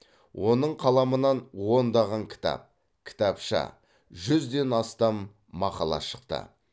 оның қаламынан ондаған кітап кітапша жүзден астам мақала шықты